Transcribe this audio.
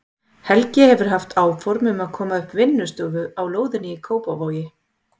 Helgi hefur haft áform um að koma upp vinnustofu á lóðinni í Kópavogi.